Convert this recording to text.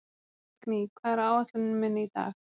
Signý, hvað er á áætluninni minni í dag?